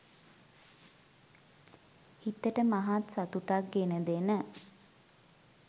සිතට මහත් සතුටක් ගෙන දෙන